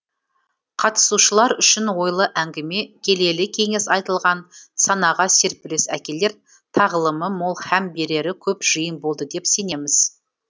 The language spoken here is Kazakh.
қатысушылар үшін ойлы әңгіме келелі кеңес айтылған санаға серпіліс әкелер тағылымы мол һәм берері көп жиын болды деп сенеміз